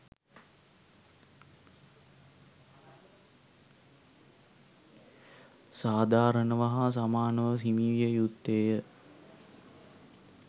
සාධාරණව හා සමානව හිමිවිය යුත්තේය.